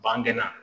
Bange na